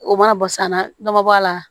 O mana bɔ sanna dɔ ma bɔ a la